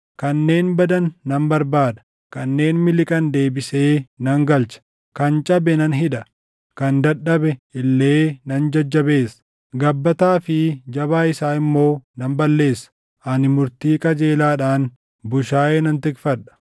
Kanneen badan nan barbaada; kanneen miliqan deebisee nan galcha. Kan cabe nan hidha; kan dadhabe illee nan jajjabeessa; gabbataa fi jabaa isaa immoo nan balleessa. Ani murtii qajeelaadhaan bushaayee nan tikfadha.